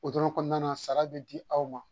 O dɔrɔn kɔnɔna na sara bɛ di aw ma